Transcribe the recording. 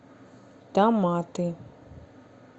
томаты